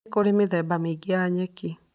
Nĩ kũrĩ mĩthemba mĩingĩ ya nyeki.